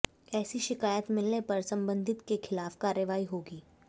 ऐसी शिकायत मिलने पर संबंधित के खिलाफ कार्रवाई होगी